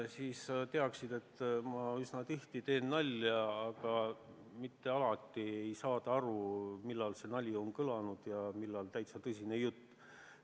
Siis sa teaksid, et ma üsna tihti teen nalja, aga mitte alati ei saada aru, millal nali on kõlanud ja millal täitsa tõsine jutt.